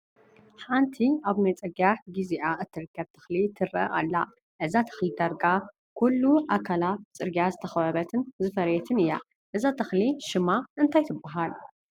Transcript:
ሓንቲ ኣብ ናይ ፅግያት ጊዜኣ እትርከብ ተኽሊ ትረአ ኣላ፡፡ እዛ ተኽሊ ዳርጋ ኩሉ ኣካላ ብፅግያት ዝተኸበበትን ዝፈረየትን እያ፡፡ እዛ ተኽሊ ሽማ እንታይ ትባሃል ትብልዋ?